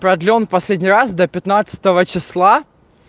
продлён в последний раз до пятнадцатого числа